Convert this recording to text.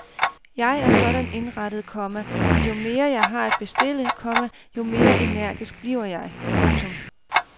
Jeg er sådan indrettet, komma at jo mere jeg har at bestille, komma jo mere energisk bliver jeg. punktum